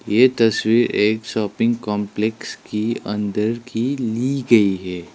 ये तस्वीर एक शॉपिंग कंपलेक्स की अंदर की ली गई है।